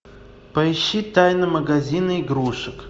поищи тайны магазина игрушек